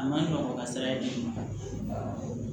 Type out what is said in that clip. A ma nɔgɔ a ka sara ye